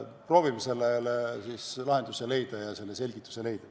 Proovime sellele lahenduse leida ja selle selgituse anda.